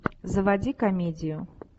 заводи комедию